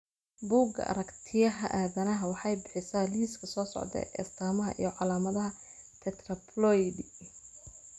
Bugga Aragtiyaha Aadanaha waxay bixisaa liiska soo socda ee astamaha iyo calaamadaha Tetraploidy.